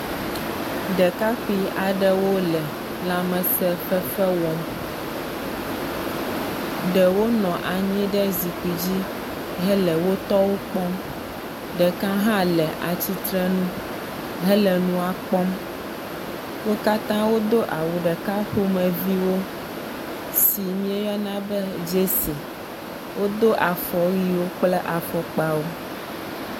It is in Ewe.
Ɖekakpui aɖewo le lãmesefefe wɔm, ɖewo nɔ anyi ɖe zikpui dzi hele wotɔwo kpɔm. Ɖeka hã le atsitre nu hele nua kpɔm, wokatã wodo awu ɖeka ƒomeviwo si mieyɔna be jersey. Wodo afɔwuiwo kple afɔkpawo.